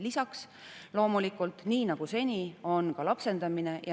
Lisaks on loomulikult nii nagu seni ka lapsendamine.